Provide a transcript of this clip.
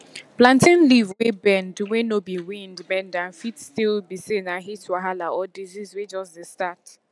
plantain leaf wey bend wey no be wind bend am fit still be say na heat wahala or disease wey jus dey start